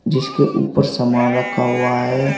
जिसके ऊपर सामान रखा हुआ है।